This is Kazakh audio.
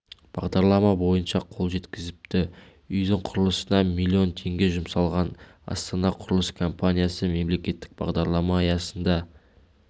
бағдарлама бойынша қол жеткізіпті үйдің құрылысына млн теңге жұмсалған астана құрылыс компаниясы мемлекеттік бағдарлама аясында